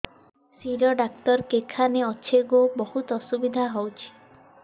ଶିର doctor କେଖାନେ ଅଛେ ଗୋ ବହୁତ୍ ଅସୁବିଧା ହଉଚି